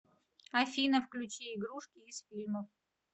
афина включи игрушки из фильмов